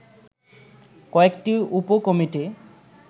কয়েকটি উপ কমিটি